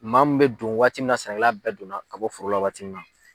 Maa mun bɛ don waati min na sɛnɛkɛla bɛɛ donna ka bɔ foro la waati min na.